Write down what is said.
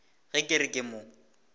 ge ke re ke mo